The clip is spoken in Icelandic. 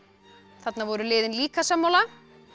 þarna voru liðin líka sammála